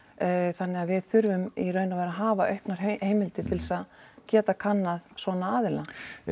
þannig að við þurfum í raun og veru að hafa auknar heimildir til þess að geta kannað svona aðila